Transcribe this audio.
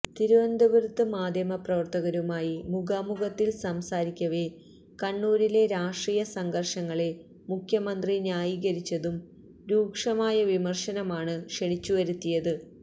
തിരുവനന്തപുരത്ത് മാധ്യമപ്രവര്ത്തകരുമായി മുഖാമുഖത്തില് സംസാരിക്കവെ കണ്ണൂരിലെ രാഷ്ട്രീയ സംഘര്ഷങ്ങളെ മുഖ്യമന്ത്രി ന്യായീകരിച്ചതും രൂക്ഷമായ വിമര്ശനമാണ് ക്ഷണിച്ചുവരുത്തിയത്